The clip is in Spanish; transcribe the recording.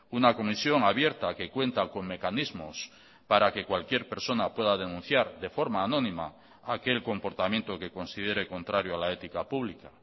una comisión abierta que cuenta con mecanismos para que cualquier persona pueda denunciar de forma anónima aquel comportamiento que considere contrario a la ética pública